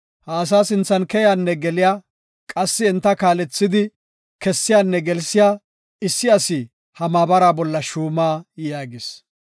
ha asaa sinthan keyaanne geliya qassi enta kaalethidi kessiyanne gelsiya issi asi ha maabara bolla shuuma” yaagis.